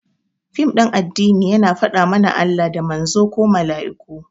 Fim ɗin addini yana faɗa mana Allah, da Manzon ko Mala'iku